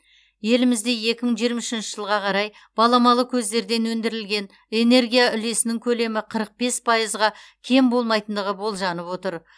елімізде екі мың жиырма үшінші жылға қарай баламалы көздерден өндірілген энергия үлесінің көлемі қырық бес пайызға кем болмайтындығы болжанып отыр